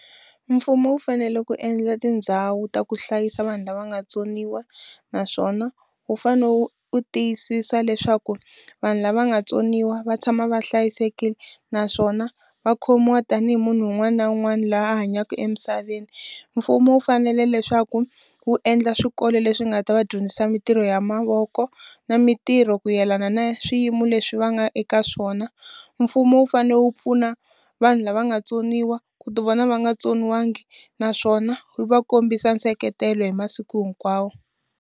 Mfumo wu fanele ku endla tindhawu ta ku hlayisa vanhu lava nga tsoniwa, naswona wu fanele wu tiyisisa leswaku vanhu lava nga vatsoniwa va tshama va hlayisekile. Naswona va khomiwa tanihi munhu un'wana na un'wana loyi a hanyaka emisaveni. Mfumo wu fanele leswaku wu endla swikolo leswi nga ta va dyondzisa mintirho ya mavoko, na mintirho ku yelana na swiyimo leswi va nga eka swona. Mfumo wu fanele wu pfuna vanhu lava nga vutsoniwa ku ti vona va nga tsoniwangi naswona wu va kombisa nseketelo hi masiku hinkwawo.